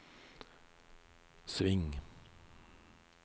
sving